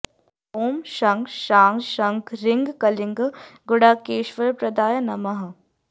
ॐ शं शां षं ह्रीं क्लीं गुडाकेशवरप्रदाय नमः